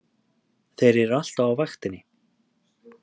Þeir eru alltaf á vaktinni!